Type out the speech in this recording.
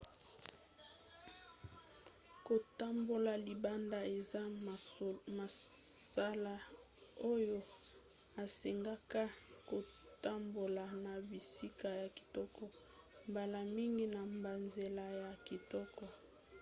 kotambola libanda eza mosala oyo esengaka kotambola na bisika ya kitoko mbala mingi na banzela ya kitoko